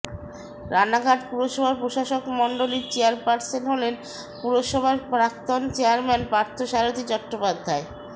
রানাঘাট পুরসভার প্রশাসকমণ্ডলীর চেয়ারপার্সন হলেন পুরসভার প্রাক্তন চেয়ারম্যান পার্থসারথী চট্টোপাধ্যায়